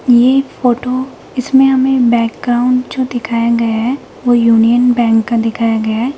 ये फोटो इसमें हमें बैकग्राउंड जो दिखाया गया है वो यूनियन बैंक का दिखाया गया है।